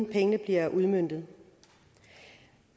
pengene bliver udmøntet